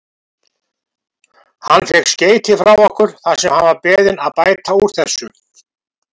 Hann fékk skeyti frá okkur þar sem hann var beðinn að bæta úr þessu.